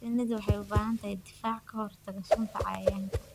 Shinnidu waxay u baahan tahay difaac ka hortagga sunta cayayaanka.